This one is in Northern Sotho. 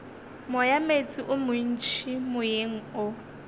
moyameetse o montši moyeng o